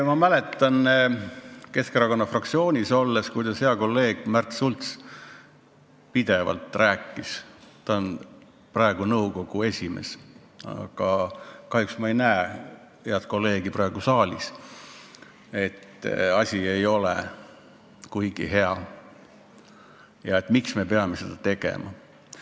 Ma mäletan ajast, kui ma Keskerakonna fraktsioonis olin, kuidas hea kolleeg Märt Sults pidevalt rääkis – ta on selle nõukogu esimees, aga kahjuks ma ei näe teda praegu saalis –, et plaan ei ole kuigi hea ja miks me peame seda tegema.